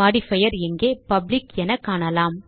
modifier இங்கே public என காணலாம்